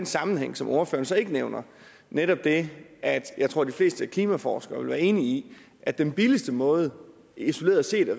sammenhæng som ordføreren så ikke nævner nemlig det at jeg tror de fleste klimaforskere vil være enige i at den billigste måde isoleret set at